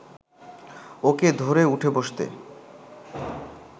ওকে ধরে উঠে বসতে